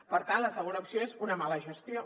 per tant la segona opció és una mala gestió